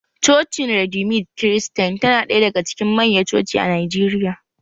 Cocin redeemed kiristain tana ɗaya daga cikin manya coci a Najeriya